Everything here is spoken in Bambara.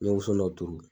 N ye woson dɔ turu